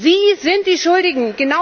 Sie sind die Schuldigen.